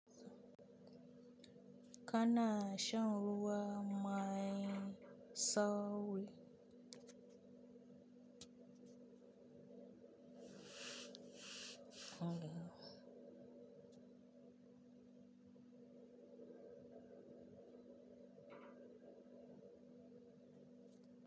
Kana shan ruwa man sau biyu.